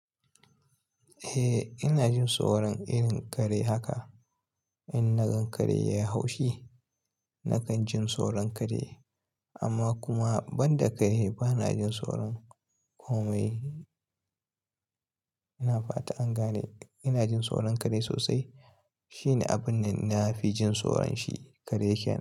Eh ina jin tsoron irin kare haka. In na gan kare ya haushi, nakan jin tsoron kare. Amma kuma banda kare bana jin tsoron komi. Ina fata an gane ina jin tsoron kare sosai. Shine abun da na fi jin tsoron shi, kare kenan.